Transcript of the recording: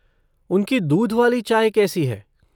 उनकी दूध वाली चाय कैसी है?